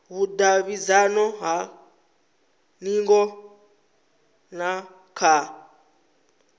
vhudavhidzano ha hingo na kha